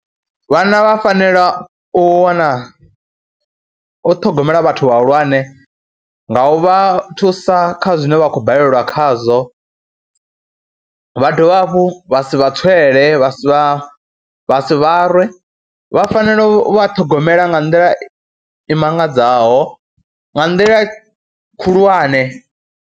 Vhana vha fanela u wana, u ṱhogomela vhathu vhahulwane nga u vha thusa kha zwine vha khou balelwa khazwo, vha dovha hafhu vha si vha tswele, vha si vha si vha rwe. Vha fanela u vha ṱhogomela nga nḓila i mangadzaho, nga nḓila khulwane.